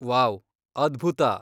Wow! ಅದ್ಭುತ.